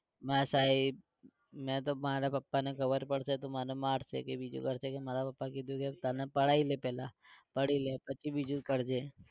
ના સાહેબ મે તો મારા પપ્પાને ખબર પડશે તો મને મારસે કે બીજું કરસે કે મારા પપ્પા કહશે કે તને પઢાઈ લે પહેલા પઢી લે પછી બીજું કરજે